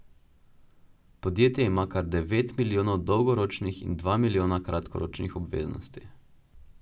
Podjetje ima kar devet milijonov dolgoročnih in dva milijona kratkoročnih obveznosti.